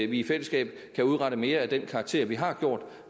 vi i fællesskab kan udrette mere af den karakter vi har gjort